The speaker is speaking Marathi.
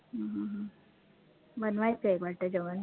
हम्म हम्म बनवायचं वाटतं जेवण